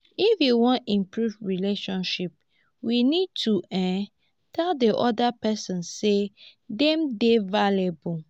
if you wan improve relationship we need to um tell di oda person sey dem dey valuable